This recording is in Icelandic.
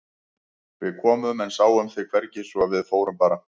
Við komum en sáum þig hvergi svo að við fórum bara.